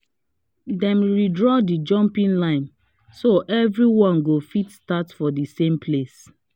dem redraw the jumping line so everyone go fit start for the same place